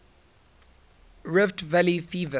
rift valley fever